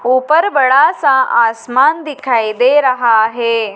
ऊपर बड़ा सा आसमान दिखाई दे रहा है।